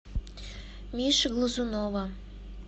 миши глазунова